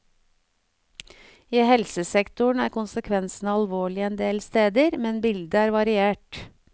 I helsesektoren er konsekvensene alvorlige en del steder, men bildet er variert.